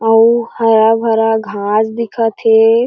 आऊ हरा-भरा घास दिखत हे।